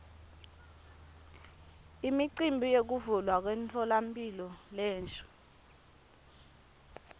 imicimbi yekuvulwa kwemtfolamphilo lensha